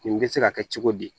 Nin bɛ se ka kɛ cogo di